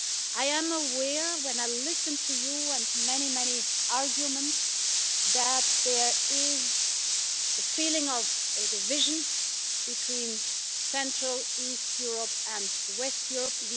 I am aware, when I listen to you and many, many arguments that there is the feeling of a division between central-eastern Europe and western Europe.